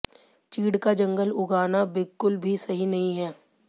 चीड़ का जंगल उगाना बिलकुल भी सही नहीं है